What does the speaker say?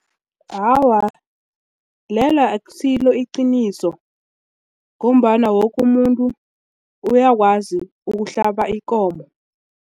Awa, lelo akusilo iqiniso ngombana woke umuntu uyakwazi ukuhlaba ikomo.